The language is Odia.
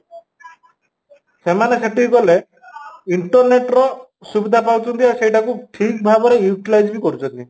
ସେମାନେ ସେଠିକି ଗଲେ internet ର ସୁବିଧା ପାଉଛନ୍ତି ଆଉ ସେଇଟା କୁ ଠିକ ଭାବରେ utilize ବି କରୁଛନ୍ତି